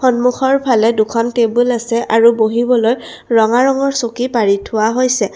সন্মুখৰ ফালে দুখন টেবুল আছে আৰু বহিবলৈ ৰঙা ৰঙৰ চকী পাৰি থোৱা হৈছে।